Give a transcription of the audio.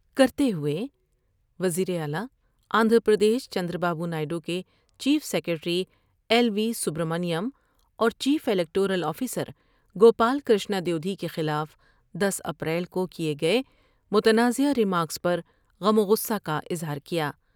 کرتے ہوئے وزیراعلی Andhra Pradesh Chandrababu Naidu کے chief secretary L V Subramanyam اور چیف الکٹو رول آفیسر کو پال کر شتاد بوڈھی کے خلاف دس اپریل کو کئے گئے متنازعہ ر بیمارکس پرغم وغصہ کا اظہار کیا ۔